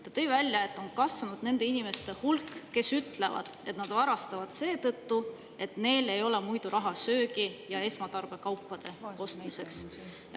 Ta tõi välja, et on kasvanud nende inimeste hulk, kes ütlevad, et nad varastavad seetõttu, et neil ei ole raha söögi ja esmatarbekaupade ostmiseks.